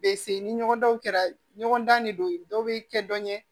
Be se ni ɲɔgɔn kɛra ɲɔgɔn dan de don dɔw be kɛ dɔn ɲɛ